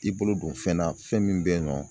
I bolo don fɛn na fɛn min be yen nɔ